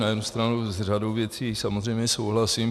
Na jednu stranu s řadou věcí samozřejmě souhlasím.